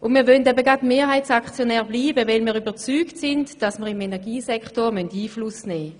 Wir möchten gerade deshalb Mehrheitsaktionär bleiben, weil wir davon überzeugt sind, dass wir im Energiebereich Einfluss nehmen müssen.